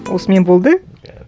осымен болды